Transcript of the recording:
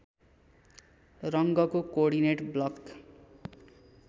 रङ्गको coordinate block